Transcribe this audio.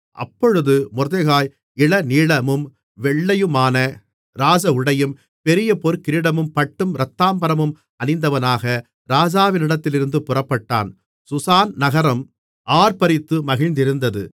அப்பொழுது மொர்தெகாய் இளநீலமும் வெள்ளையுமான ராஜஉடையும் பெரிய பொற்கிரீடமும் பட்டும் இரத்தாம்பரமும் அணிந்தவனாக ராஜாவிடத்திலிருந்து புறப்பட்டான் சூசான் நகரம் ஆர்ப்பரித்து மகிழ்ந்திருந்தது